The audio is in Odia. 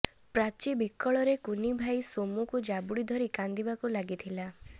ପ୍ରାଚୀ ବିକଳରେ କୁନି ଭାଇ ସୋମ୍କୁ ଜାବୁଡ଼ି ଧରି କାନ୍ଦିବାକୁ ଲାଗିଥିଲା